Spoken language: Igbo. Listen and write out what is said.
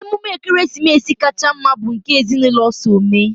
emume ekeresimesi kacha mma bụ nke ezinụlọ so eme